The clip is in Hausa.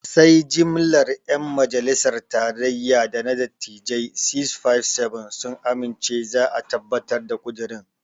Sai jimlar 'yan majalisar tarayya da na dattijain 657 sun amince za a tabbatar da ƙudirin.